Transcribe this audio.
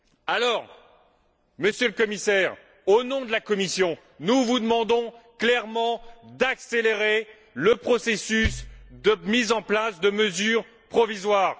Alors, Monsieur le Commissaire, au nom de la Commission, nous vous demandons clairement d'accélérer le processus de mise en place de mesures provisoires.